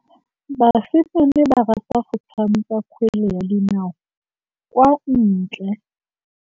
Basimane ba rata go tshameka kgwele ya dinaô kwa ntle.